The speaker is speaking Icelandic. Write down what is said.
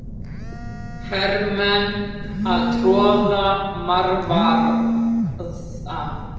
Í kvöld voru síðan tveir leikir.